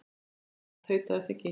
Taka af. tautaði Siggi.